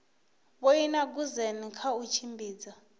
vhoina goosen kha u tshimbidza